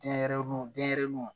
Denyɛrɛnin denɲɛrɛninw